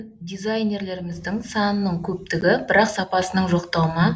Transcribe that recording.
дизайнерлерімізің санының көптігі бірақ сапасының жоқтығы ма